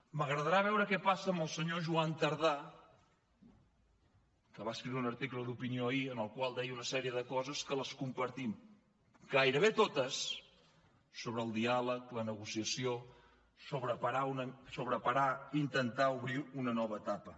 m’agradarà veure què passa amb el senyor joan tardà que va escriure un article d’opinió ahir en el qual deia una sèrie de coses que les compartim gairebé totes sobre el diàleg la negociació sobre parar i intentar obrir una nova etapa